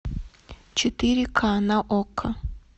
четыре ка на окко